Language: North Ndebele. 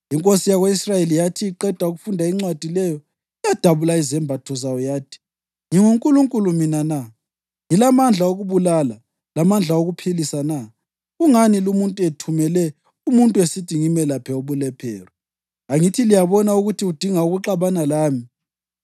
Inkosi yako-Israyeli yathi iqeda ukufunda incwadi leyo, yadabula izembatho zayo yathi, “NginguNkulunkulu mina na? Ngilamandla okubulala lamandla okuphilisa na? Kungani lumuntu ethumele umuntu esithi ngimelaphe ubulephero? Angithi liyabona ukuthi udinga ukuxabana lami!”